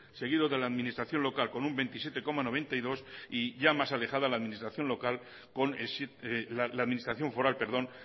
seguido de la administración local con un veintisiete coma noventa y dos por ciento y ya más alejada la administración foral